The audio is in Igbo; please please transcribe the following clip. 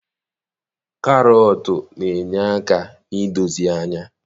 Karọtụ na-enye aka na-idozi anya